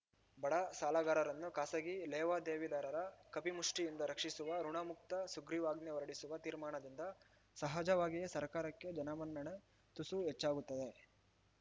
ಬಡ ಸಾಲಗಾರರನ್ನು ಖಾಸಗಿ ಲೇವಾದೇವಿದಾರರ ಕಪಿಮುಷ್ಟಿಯಿಂದ ರಕ್ಷಿಸುವ ಋುಣಮುಕ್ತ ಸುಗ್ರೀವಾಜ್ಞೆ ಹೊರಡಿಸುವ ತೀರ್ಮಾನದಿಂದ ಸಹಜವಾಗಿಯೇ ಸರ್ಕಾರಕ್ಕೆ ಜನಮನ್ನಣೆ ತುಸು ಹೆಚ್ಚಾಗುತ್ತದೆ